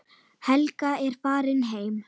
Helga er farin heim.